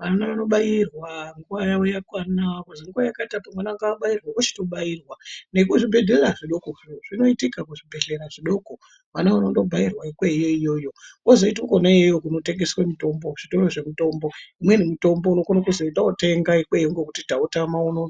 vana vanobairwa nguva yavo yakwana. Kuzi nguva yakati apo mwana ngabairwe vochitobairwa nekuzvibhedhlera zvidokozvo zvinoitika kuzvibhedhlera zvidoko. Vana vanondo bairwa ikweyo iyoyo kozoita kona iyoyo kunotengeswe mitombo kuzvitoro zvemitombo. Imweni mitombo unokona kuzi enda votenga ikweyo nekuti tautama unono.